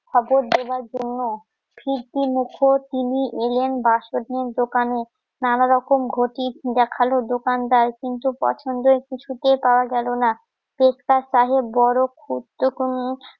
খবর দেওয়ার জন্য । কি কি মুখোশ, তিনি এলেন বাঁশপটনের দোকানে। নানা রকম ক্ষতি দেখালো দোকানদার। কিন্তু পছন্দের কিছুতেই পাওয়া গেলো না। পেটটা বড় ক্ষুদ্র